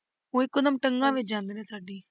ਉਹ ਇੱਕੋਦਮ ਟੰਗਾਂ ਵਿੱਚ ਜਾਂਦੇ ਨੇ ਸਾਡੀ।